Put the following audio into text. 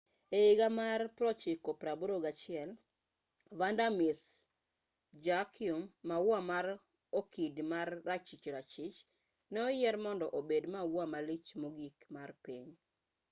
e higa mar 1981 vanda miss joaquim maua mar okid ma rachich rachich ne oyier mondo obed maua malich mogik mar piny